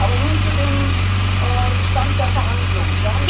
Aber nun zu dem Stand der Verhandlungen.